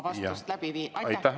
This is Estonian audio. Aitäh!